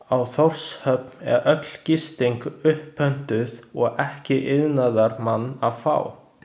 Á Þórshöfn er öll gisting upppöntuð og ekki iðnaðarmann að fá.